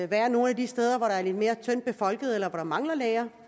være nogle af de steder hvor der er lidt mere tyndt befolket eller hvor der mangler læger